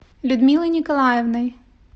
людмилой николаевной